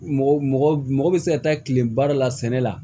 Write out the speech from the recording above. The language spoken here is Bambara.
Mɔgɔ mɔgɔ bɛ se ka taa tileba dɔ la sɛnɛ la